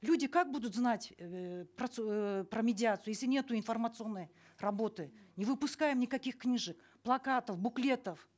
люди как будут знать эээ эээ про медиацию если нету информационной работы не выпускаем никаких книжек плакатов буклетов